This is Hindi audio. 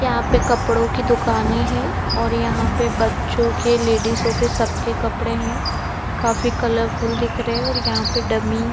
यहाँ पर कपड़ो की दुकाने है और यहाँ पे बच्चो के लेडीजो के सब के कपड़े है काफी कलरफुल दिख रहे है और यहाँ पे डम्मी --